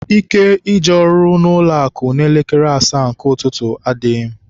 Ike ije ọrụ n'ụlọakụ n'elekere asaa nke ụtụtụ, adịghị m.